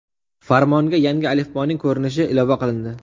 Farmonga yangi alifboning ko‘rinishi ilova qilindi.